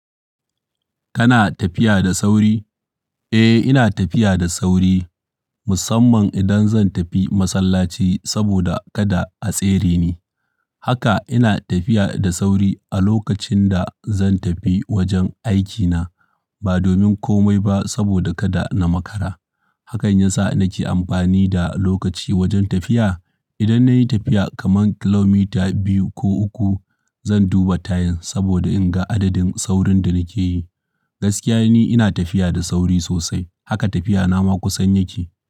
Kana tafiya da sauri? Eh, ina tafiya da sauri. Musamman idan zan tafi masallaci saboda kada a tsere ni. Haka ina tafiya da sauri a lokacin da zan tafi wajen aikina ba domin komai ba saboda kada na makara. Hakan ya sa nake amfani da lokaci wajen tafiya. Idan na yi tafiya kaman kilomita biyu ko uku, zan duba time saboda in ga adadin saurin da nake yi. Gaskiya ni ina tafiya da sauri sosai, haka tafiyana ma kusan yake.